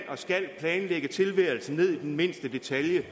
planlægge tilværelsen ned til mindste detalje